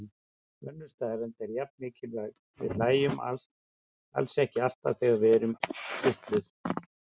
Önnur staðreynd er jafn mikilvæg: Við hlæjum alls ekki alltaf þegar við erum kitluð.